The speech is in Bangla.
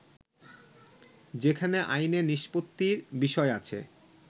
যেখানে আইনে নিষ্পত্তির বিষয় আছে